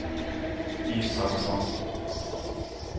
Isaksson